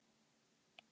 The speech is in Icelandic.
Svo komu þeir ekki.